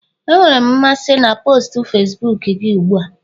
Enwere m mmasị na post Facibuku gị ugbu a